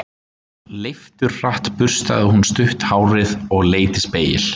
Leifturhratt burstaði hún stutt hárið og leit í spegil.